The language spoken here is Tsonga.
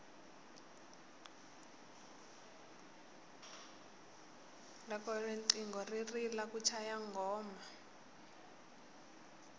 loko riqingho ri rila ku chaya nghoma